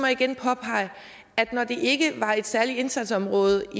igen påpege at når det ikke var et særligt indsatsområde